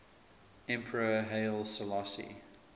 emperor haile selassie